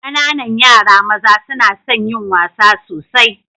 Ƙananan yara maza suna son yin wasa sosai.